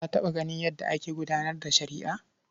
Ka taɓa ganin yadda ake gudanar da shari'a?